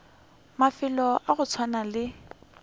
mafelo a go swana le